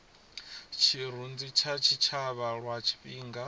tshirunzi kha tshitshavha lwa tshifhinga